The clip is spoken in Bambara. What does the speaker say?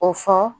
O fɔ